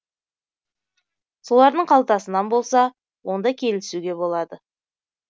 солардың қалтасынан болса онда келісуге болады